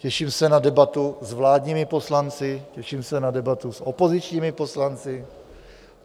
Těším se na debatu s vládními poslanci, těším se na debatu s opozičními poslanci.